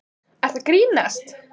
Ertu að grínast?!